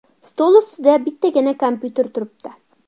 Stol ustida bittagina kompyuter turibdi.